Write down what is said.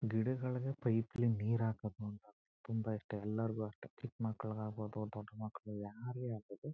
ಗಿಡಗಳ್ಗೆ pipe ಲಿ ನೀರ್ ಹಾಕ್ಬೇಕು ಅಂತ ಅಂದ್ರೆ ತುಂಬಾ ಇಷ್ಟ ಎಲ್ಲರಿಗೂ ಅಷ್ಟೇ ಚಿಕ್ ಮಕ್ಳುಗ್ ಆಗಬೋದು ದೊಡ್ ಮಕ್ಳು ಯಾರ್ಗೆ ಆಗಬೋದು